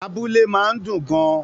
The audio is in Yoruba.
Àbùlà máa ń dùn gan-an